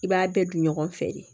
I b'a bɛɛ dun ɲɔgɔn fɛ de